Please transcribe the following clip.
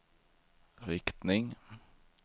riktning